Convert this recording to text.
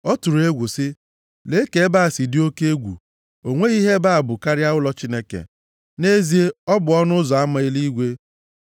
Ọ tụrụ egwu sị, “Lee ka ebe a si dị oke egwu, o nweghị ihe ebe a bụ karịa ụlọ Chineke, nʼezie ọ bụ ọnụ ụzọ ama eluigwe.”